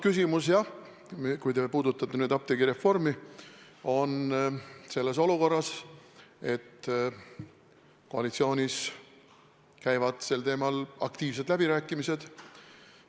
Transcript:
Kui te puudutate nüüd apteegireformi, siis me oleme olukorras, kus koalitsioonis käivad sel teemal aktiivsed läbirääkimised.